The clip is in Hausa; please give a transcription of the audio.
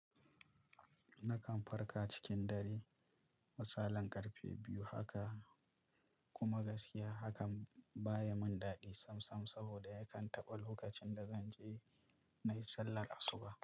Nakan farka cikin dare, misalan ƙarfe biyu haka, kuma gaskiya hakan baya min daɗi sam sam saboda yakan taɓa lokacin da zan je na yi sallar asuba.